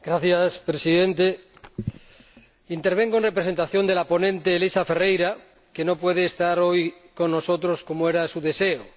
Señor Presidente, intervengo en representación de la ponente Elisa Ferreira, que no puede estar hoy con nosotros como era su deseo.